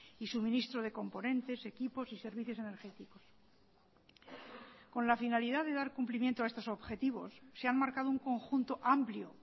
y suministro de componentes equipos y servicios energéticos con la finalidad de dar cumplimiento a estos objetivos se han marcado un conjunto amplio